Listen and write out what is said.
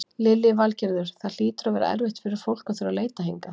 Lillý Valgerður: Það hlýtur að vera erfitt fyrir fólk að þurfa að leita hingað?